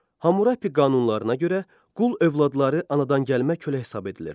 Hammurapi qanunlarına görə qul övladları anadangəlmə kölə hesab edilirdi.